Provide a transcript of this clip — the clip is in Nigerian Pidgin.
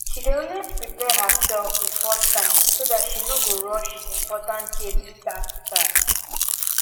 she dey always prepare her self before time so tht she no go rush important yearly tax tasks